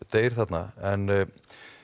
deyr þarna en